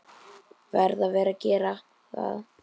Verð að gera það.